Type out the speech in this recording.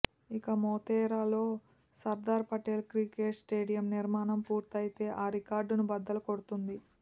ఇక మొతేరాలో Sardar Patel cricket stadium నిర్మాణం పూర్తయితే ఆ రికార్డును బద్దలు కొడుతుంది